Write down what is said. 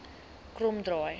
kromdraai